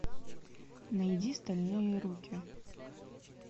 найди стальные руки